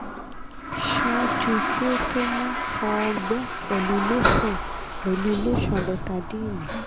ṣaaju ki o to mo fọ ọgbẹ pẹlu lotion pẹlu lotion betadyne